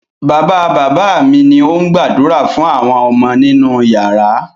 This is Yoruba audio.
Bàbá-bàbá mi ni ó ń gbàdúrà fún àwọn ọmọ nínú ìyàrá.